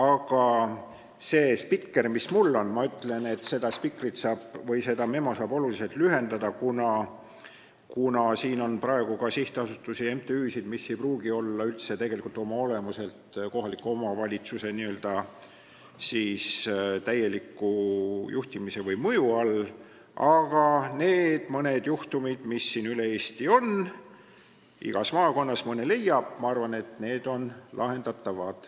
Aga selle spikri järgi, mis mul on – seda spikrit või memo saab oluliselt lühendada, kuna siin on praegu kirjas ka sihtasutusi ja MTÜ-sid, mis ei pruugi oma olemuselt olla üldse kohaliku omavalitsuse juhtimise või mõju all –, need mõned juhtumid, mis üle Eesti on, igas maakonnas ju mõne leiab, ma arvan, on lahendatavad.